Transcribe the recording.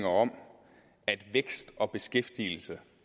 om at vækst og beskæftigelse